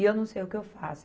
E eu não sei o que eu faço.